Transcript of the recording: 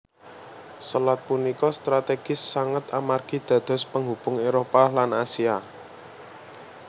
Selat punika strategis sanget amargi dados penghubung Éropah lan Asia